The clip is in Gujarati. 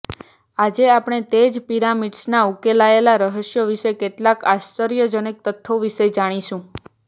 આજે આપણે તે જ પિરામિડ્સના ઉકેલાયેલા રહસ્ય વિશે કેટલાક આશ્ચર્યજનક તથ્યો વિશે જાણીશું